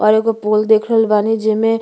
और एगो पोल देख रहल बानी जेमे --